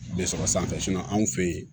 Bɛ sɔrɔ sanfɛ anw fɛ yen